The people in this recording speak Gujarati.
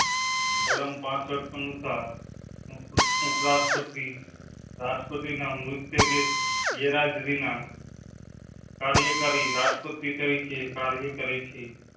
કલમ પાસંઠ અનુસાર. રાષ્ટ્રપતિ ના મૃત્યુ કે. ગેર હાજરી ના કાર્યકારી રાષ્ટ્રપતિ તરીકે કાર્ય કરેં છે.